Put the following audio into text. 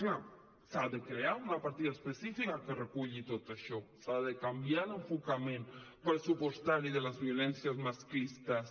clar s’ha de crear una partida específica que reculli tot això s’ha de canviar l’enfocament pressupostari de les violències masclistes